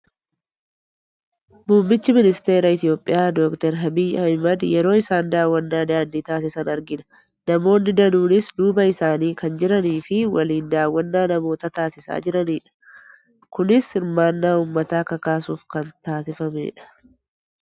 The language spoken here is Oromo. Muummichi ministeera Itoophiyaa Dookter Abiyyi Ahmed yeroo isaan daawwannaa daandii taasisan argina. Namoonni danuunis duuba isaanii kan jiranii fi waliin daawwannaa namoota taasisaa jiranidha. Kunis hirmaannaa uummataa kakaasuuf kan taasifamedha.